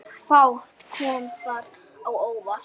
Fátt kom þar á óvart.